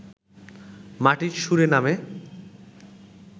মাটির সুরে নামে